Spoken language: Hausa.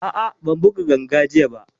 A'a, ban buga ganga jiya ba